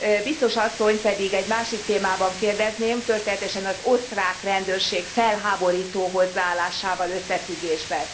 Biztos asszonyt pedig egy másik témában kérdezném, történetesen az osztrák rendőrség felháborító hozzáállásával összefüggésben.